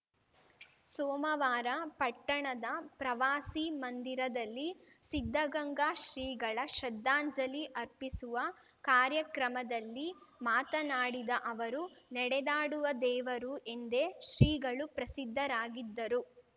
ಸೋಮವಾರ ಪಟ್ಟಣದ ಪ್ರವಾಸಿ ಮಂದಿರದಲ್ಲಿ ಸಿದ್ಧಗಂಗಾ ಶ್ರೀಗಳ ಶ್ರದ್ಧಾಂಜಲಿ ಅರ್ಪಿಸುವ ಕಾರ್ಯಕ್ರಮದಲ್ಲಿ ಮಾತನಾಡಿದ ಅವರು ನೆಡೆದಾಡುವ ದೇವರು ಎಂದೇ ಶ್ರೀಗಳು ಪ್ರಸಿದ್ಧರಾಗಿದ್ದರು